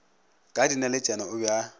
ka dinaletšana o be a